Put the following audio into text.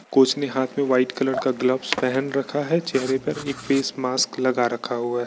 Coach ने हाँथ में वाइट कलर का ग्लोव्स पहन रखा है चेहरे पर एक फेस मास्क लगा रखा हुआ है।